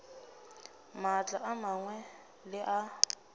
maatla a mangwe le a